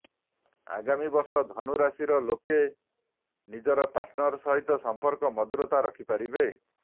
ଆଗାମୀ ବର୍ଷ ଧନୁ ରାଶି ଲୋକ ନିଜର ପାର୍ଟନର ସହିତ ସମ୍ପର୍କରେ ମଧୁରତା ରଖିପାରିବେ